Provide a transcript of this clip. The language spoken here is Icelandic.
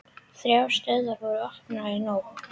Þrjár stöðvar voru opnaðar í nótt